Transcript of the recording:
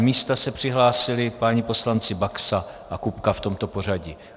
Z místa se přihlásili páni poslanci Baxa a Kupka, v tomto pořadí.